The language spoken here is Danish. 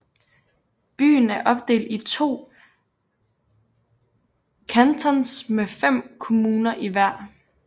Byen er opdelt i to Cantons med fem kommuner i hver